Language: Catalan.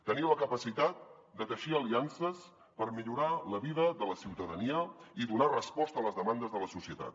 tenir la capacitat de teixir aliances per millorar la vida de la ciutadania i donar resposta a les demandes de la societat